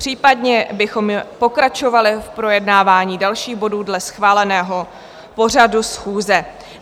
Případně bychom pokračovali v projednávání dalších bodů dle schváleného pořadu schůze.